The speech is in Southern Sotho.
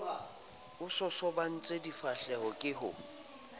a sosobantse difahleho ke ho